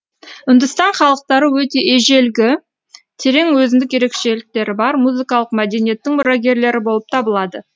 үндістан халықтары өте ежелгі терең өзіндік ерекшеліктері бар музыкалық мәдениеттің мұрагерлері болып табылады